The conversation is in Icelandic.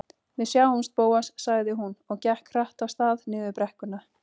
Við sjáumst, Bóas- sagði hún og gekk hratt af stað niður brekkuna.